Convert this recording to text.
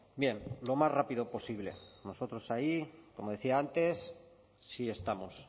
bien lo más rápido posible nosotros ahí como decía antes sí estamos